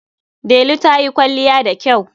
Delu ta yi kwalliya da kyau.